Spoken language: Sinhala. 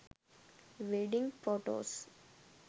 wedding photos